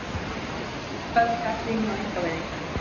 Hörð gagnrýni á einkavæðinguna